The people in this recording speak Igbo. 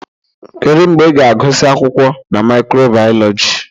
Kedu mgbe ị ga-agụsị akwụkwọ na micro-biology?